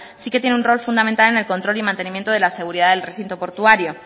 sí que tiene un rol fundamental en el control y mantenimiento de la seguridad del recinto portuario